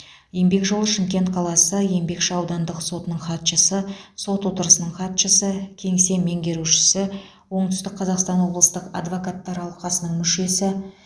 еңбек жолы шымкент қаласы еңбекші аудандық сотының хатшысы сот отырысының хатшысы кеңсе меңгерушісі оңтүстік қазақстан облыстық адвокаттар алқасының мүшесі